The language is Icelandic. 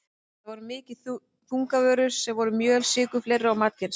Þetta voru mikið þungavörur, svo sem mjöl, sykur og fleira matarkyns.